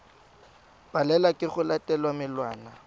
palelwa ke go latela melawana